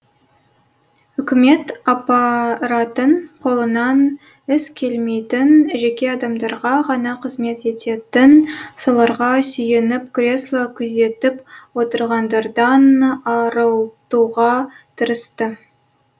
үкімет аппаратын қолынан іс келмейтін жеке адамдарға ғана қызмет ететін соларға сүйеніп кресло күзетіп отырғандардан арылтуға тырысты